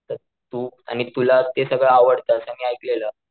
तू आणि तुला ते सगळं आवडत असं मी ऐकलेलं.